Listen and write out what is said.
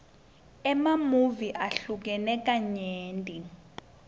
emamuvi ahlukene kanyenti